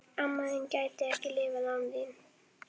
Amma þín gæti ekki lifað án þín.